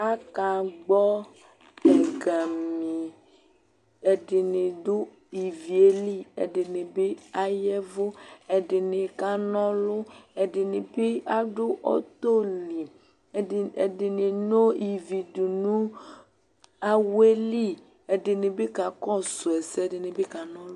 akagbõ ɛgami ɛdini du iviéli ɛdini bi ayɛvu ɛdini kanõlu ɛdini bi adũ ɔtõli ɛdi ɛdini no ivi dũnu awɛli ɛdinibi kakõsũɛsɛ ɛdinibi kanõlu